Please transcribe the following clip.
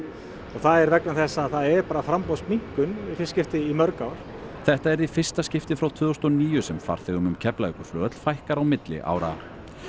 og það er vegna þess að það er framboðsminnkun í fyrsta skipti í mörg ár þetta yrði í fyrsta skipti frá tvö þúsund og níu sem farþegum um Keflavíkurflugvöll fækkar á milli ára